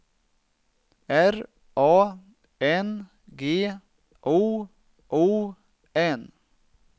R A N G O O N